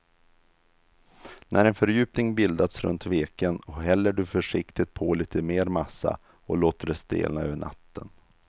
När en fördjupning bildats runt veken häller du försiktigt på lite mer massa och låter det stelna över natten.